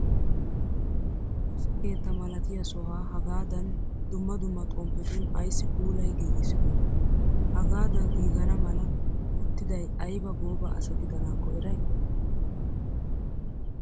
Woosa keetta malatiyaa sohaa hagaadan dumma dumma xomppetun ayissi puulayi giigissidonaa? Hagaada giigana mala ootidayi ayiba gooba asa gidanaakko erayii?